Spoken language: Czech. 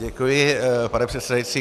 Děkuji, pane předsedající.